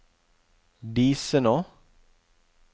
Disenå